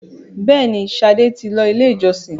béèni, Sade tí ló ilé ìjósìn.